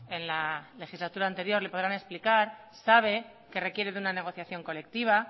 en la legislatura anterior le podrán explicar sabe que requiere de una negociación colectiva